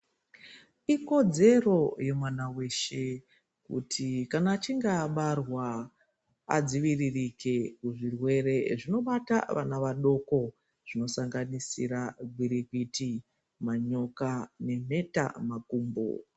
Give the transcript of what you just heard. Ikodzero yemwana weshe kuti echinge abarwa adziviririke kuzvirwere zvinobata vana vadoko zvino sanganisirwa gwirikwiti manyoka nemheta mkumbo.